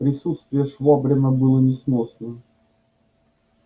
присутствие швабрина было несносно